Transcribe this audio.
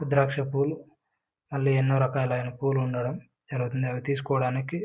ద్రాక్ష పువ్వులు మల్లి ఎనో రకాలైన పువ్వులు ఉండడం విరిఅందరు తీసుకోవడానికి --